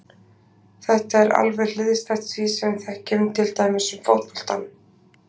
Þetta er alveg hliðstætt því sem við þekkjum til dæmis um fótboltann.